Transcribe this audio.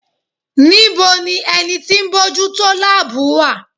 Níbo ni ẹni tí bójú tó láàbù wà?